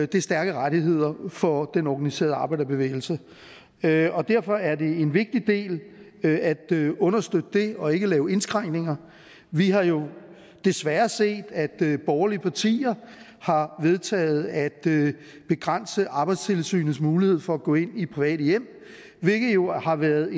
det er stærke rettigheder for den organiserede arbejderbevægelse derfor derfor er det en vigtig del at understøtte det og ikke lave indskrænkninger vi har jo desværre set at borgerlige partier har vedtaget at begrænse arbejdstilsynets mulighed for at gå ind i private hjem hvilket jo har været